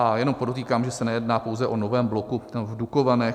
A jenom podotýkám, že se nejedná pouze o novém bloku v Dukovanech.